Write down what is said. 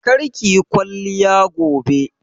Kar kiyi kwalliya gobe!